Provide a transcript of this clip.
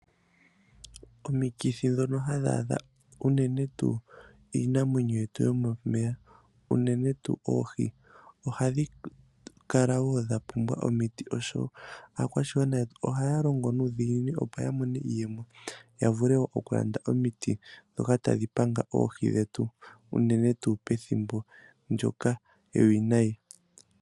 Omikithi dhono hadhi adha uunene tuu iinamwenyo yetu yomomeya uune tuu ohii ohadhi kala woo dhapumbwa omiti oshoka aakwashigwana yetu ohaya longo nuudhiginini opo yamone iiyemo yavule okulanda omiti dhoka tadhi panga oohi dhetu uune tuu pethimbo ndjoka ewinayi.